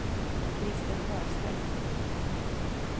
Christer Sjöstedt